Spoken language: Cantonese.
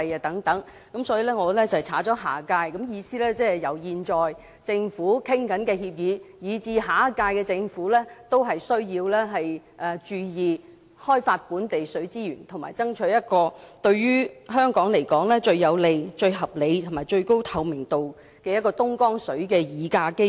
因此我刪去"下屆"二字，意思是由現屆政府討論的協議，以至下屆政府均需要注意，要開發本地水資源和爭取對於香港來說，最有利、最合理和最高透明度的東江水議價機制。